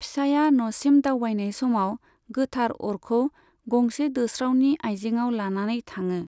फिसाइया न'सिम दावबायनाय समाव गोथार अरखौ गंसे दोस्रावनि आइजेंआव लानानै थाङो।